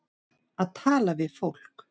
Að tala við fólk